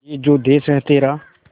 ये जो देस है तेरा